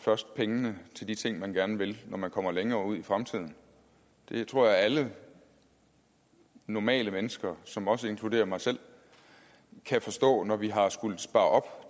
først pengene til de ting man gerne vil når man kommer længere ud i fremtiden det tror jeg alle normale mennesker som også inkluderer mig selv kan forstå når vi har skullet spare op